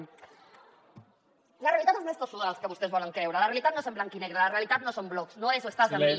la realitat és més tossuda del que vostès volen creure la realitat no és en blanc i negre la realitat no són blocs no és o estàs amb mi